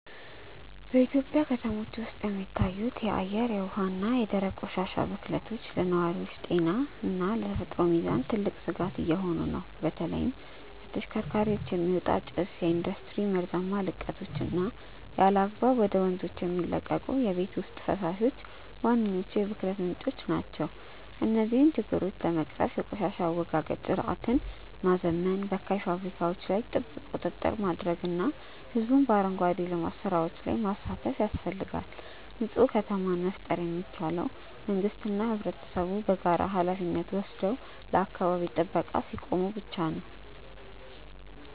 በኢትዮጵያ ከተሞች ውስጥ የሚታዩት የአየር፣ የውሃ እና የደረቅ ቆሻሻ ብክለቶች ለነዋሪዎች ጤና እና ለተፈጥሮ ሚዛን ትልቅ ስጋት እየሆኑ ነው። በተለይም ከተሽከርካሪዎች የሚወጣ ጭስ፣ የኢንዱስትሪ መርዛማ ልቀቶች እና ያለአግባብ ወደ ወንዞች የሚለቀቁ የቤት ውስጥ ፈሳሾች ዋነኞቹ የብክለት ምንጮች ናቸው። እነዚህን ችግሮች ለመቅረፍ የቆሻሻ አወጋገድ ስርዓትን ማዘመን፣ በካይ ፋብሪካዎች ላይ ጥብቅ ቁጥጥር ማድረግ እና ህዝቡን በአረንጓዴ ልማት ስራዎች ላይ ማሳተፍ ያስፈልጋል። ንፁህ ከተማን መፍጠር የሚቻለው መንግስትና ህብረተሰቡ በጋራ ሃላፊነት ወስደው ለአካባቢ ጥበቃ ሲቆሙ ብቻ ነው።